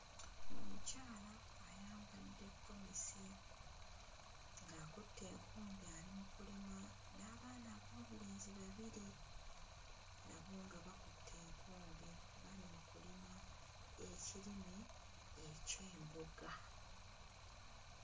Omukyala ayambadde ggomesi ng'akutte enkumbi ali mu kulima n'abaana ab'obulenzi babiri nabo nga bakutte enkumbi bali mu kulima ekirime eky'emboga.